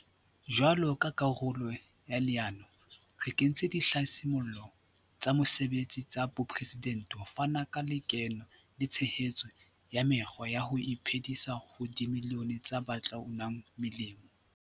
Jwalo ka karolo ya leano, re kentse Dihlasimollo tsa Mosebetsi tsa Bopresidente ho fana ka lekeno le tshehetso ya mekgwa ya ho iphe disa ho dimilione tsa ba tla unang molemo.